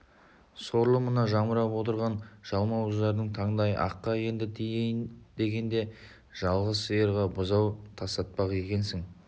сорлы мына жамырап отырған жалмауыздарыңның таңдайы аққа енді тиейін дегенде жалғыз сиырға бұзау тастатпақ екенсің